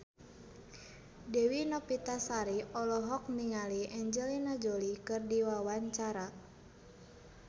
Dewi Novitasari olohok ningali Angelina Jolie keur diwawancara